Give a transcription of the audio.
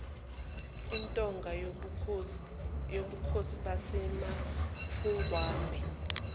intonga yobukhosi basemapungubwe